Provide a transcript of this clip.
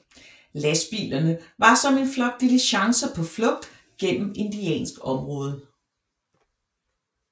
Lastbilerne var som en flok diligencer på flugt gennem indiansk område